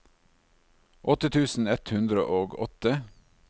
åtte tusen ett hundre og åtte